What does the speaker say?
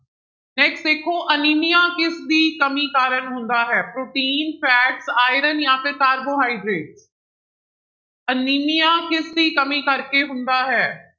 Next ਦੇਖੋ anaemia ਕਿਸਦੀ ਕਮੀ ਕਾਰਨ ਹੁੰਦਾ ਹੈ, ਪ੍ਰੋਟੀਨ fat ਆਇਰਨ ਜਾਂਂ ਫਿਰ ਕਾਰਬੋਹਾਈਡ੍ਰੇਟ ਅਨੀਮੀਆ ਕਿਸਦੀ ਕਮੀ ਕਰਕੇ ਹੁੰਦਾ ਹੈ।